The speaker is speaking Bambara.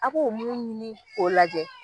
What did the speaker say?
A k'o mun ɲini k'o lajɛ